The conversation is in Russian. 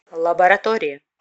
лаборатория